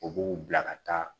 U b'u bila ka taa